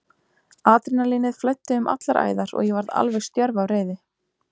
Adrenalínið flæddi um allar æðar og ég varð alveg stjörf af reiði.